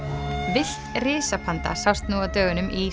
villt sást nú á dögunum í